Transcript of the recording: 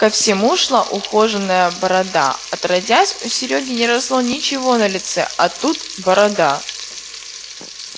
ко всему шла ухоженная борода отродясь у серёги не росло ничего на лице а тут борода